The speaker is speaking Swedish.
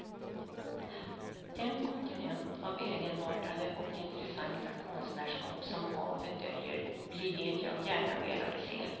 Den kontinent av egenartade och intressanta konstnärskap som havet döljer blir det jag gärna velat se.